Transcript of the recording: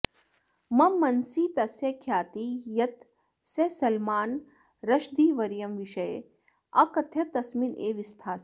मम मनसि तस्य ख्यातिः यत् सः सलमानरशदीवर्यं विषये अकथयत् तस्मिन् एव स्थास्यति